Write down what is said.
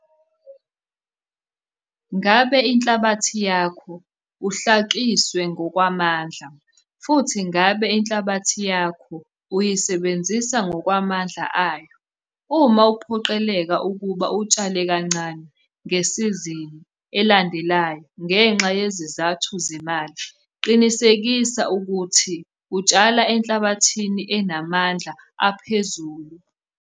Ngabe inhlabathi yakho uhlakiswe ngokwamandla, futhi ngabe inhlabathi yakho uyisebenzisa ngokwamandla ayo? Uma uphoqeleka ukuba utshale kancane ngesizini elandelayo ngenxa yezizathu zemali qinisekisa ukuthi utshala enhlabathini enamandla aphezulu.